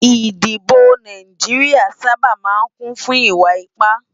Idibò Náijiriá sàbá má n kún fún iwá ipá